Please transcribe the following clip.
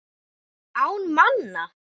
Án manna.